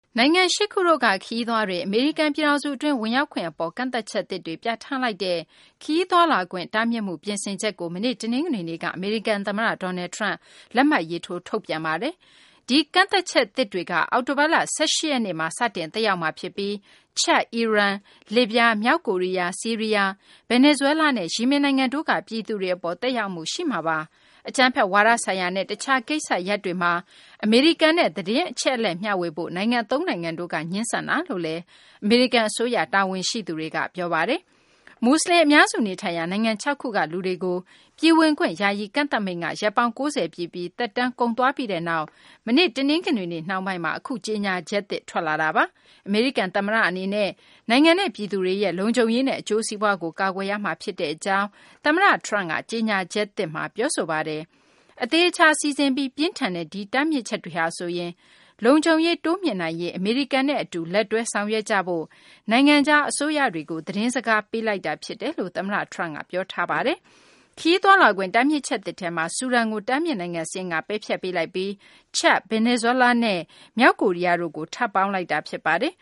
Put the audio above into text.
နိုင်ငံ ၈ နိုင်ငံက ခရီးသွားတွေ အမေရိကန် ပြည်ထောင်စု အတွင်း ဝင်ရောက်ခွင့် အပေါ် ကန့်သတ်ချက်သစ်တွေ ပြဌာန်းလိုက်တဲ့ ခရီးသွားလာခွင့် တားမြစ်မှုပြင်ဆင်ချက်ကို မနေ့ တနင်္ဂနွေနေ့ကအမေရိကန် သမ္မတ Donald Trump လက်မှတ်ရေးထိုး ထုတ်ပြန်လိုက်ပါတယ်။ ဒီကန့်သတ်ချက်သစ်တွေက အောက်တိုဘာလ ၁၈ ရက်နေ့ကနေ စတင်သက်ရောက်မှာဖြစ်ပြီး Chad - ချဒ်၊ အီရန်၊လစ်ဗျား၊ မြောက်ကိုရီးယား၊ ဆီးရီးယား၊ ဗင်နီဇွဲလားနဲ့ ယီမင်နိုင်ငံ တွေက ပြည်သူတွေ အပေါ် သက်ရောက်မှုရှိမှာပါ။ အကြမ်းဖက်ဝါဒဆိုင်ရာနဲ့ တခြား ကိစ္စရပ်တွေမှာ အမေရိကန်နဲ့ သတင်းအချက်အလက် မျှဝေဖို့ နိုင်ငံသုံးနိုင်ငံက ငြင်းဆန်ခဲ့တယ်လို့ အမေရိကန် အစိုးရ တာဝန်ရှိသူတွေက ပြောပါတယ်။ မူဆလင် အများစု နေထိုင်ရာ နိုင်ငံ ၆ ခုက လူတွေကို ပြည်ဝင်ခွင့် ယာယီကန့်သတ်မိန့်က ရက်ပေါင်း ၉၀ ပြည့်ပြီး၊ သက်တမ်းကုန်သွားပြီးနောက် မနေ့ တနင်္ဂနွေနေ့ နှောင်းပိုင်းမှာ အခုကြေညာချက်သစ် ထွက်လာတာပါ။ အမေရိကန် သမ္မတ Trump ကတော့ နိုင်ငံနဲ့ ပြည်သူတွေရဲ့လုံခြုံရေးနဲ့ အကျိုးစီးပွားတွေကို ကာကွယ်ရမှာ ဖြစ်ကြောင်း သူ့ရဲ့ကြေညာချက်သစ်မှာ ပြောဆိုထားပါတယ်။ အသေအချာ စီစဉ်ထားပြီး ပြင်းထန်တဲ့ ဒီတားမြစ်ချက်တွေဟာဆိုရင် လုံခြုံရေးမြှင့်တင်နိုင်ရေး၊ အမေရိကန်နဲ့ အတူလက်တွဲ ဆောင်ရွက်ကြဖို့ နိုင်ငံခြား အစိုးရတွေကို သတင်းစကား ပေးလိုက်တာ ဖြစ်တယ်လို့လည်း သမ္မတ Trump က ပြောပါတယ်။ ခရီးသွားလာခွင့် တားမြစ်ချက်သစ်ထဲမှာ ဆူဒန်ကို တားမြစ်နိုင်ငံ စာရင်းကနေ ပယ်ဖျက်ပေးလိုက်ပြီး ချဒ်၊ ဗင်နီဇွဲလားနဲ့ မြောက်ကိုရီးယား နိုင်ငံတွေကို ထပ်ပေါင်းလိုက်တာဖြစ်ပါတယ်